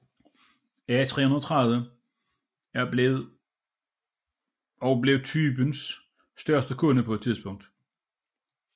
A330 og blev typens største kunde på det tidspunkt